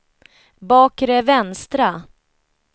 bakre vänstra